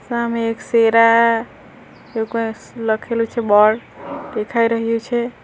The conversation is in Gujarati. સામે એક શેરા એવું કાંઈ લખેલું છે બોર્ડ દેખાઈ રહ્યું છે.